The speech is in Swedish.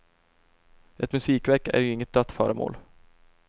Ett musikverk är ju inget dött föremål.